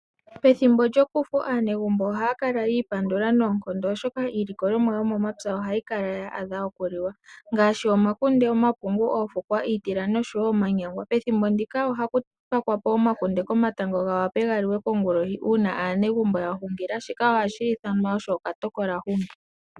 Pethimbo lyokufu aanegumbo ohaya kala yi ipandula noonkondo, oshoka iilikolomwa yomomapya ohayi kala ya adha okuliwa ngaashi omapungu, omakunde, oofukwa, iitila noshowo omanyangwa. Pethimbo ndika ohaku pakwa po omakunde komatango ga wape ga liwe kongulohi uuna aanegumbo ya hungila, shika ohashi ithanwa okatokolahungi.